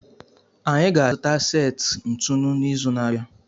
Anyị ga-azụta seti ntụnụ n'izu na-abịa